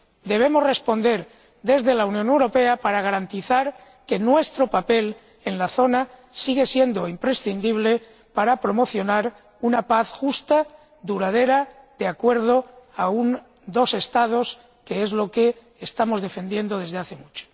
Debemos responder desde la Unión Europea para garantizar que nuestro papel en la zona sigue siendo imprescindible para promocionar una paz justa, duradera, conforme a una solución de dos Estados, que es lo que estamos defendiendo desde hace mucho.